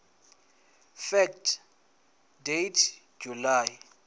fact date july